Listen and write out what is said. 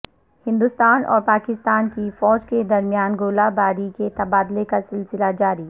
ہندوستان اور پاکستان کی فوج کے درمیان گولہ باری کے تبادلے کا سلسلہ جاری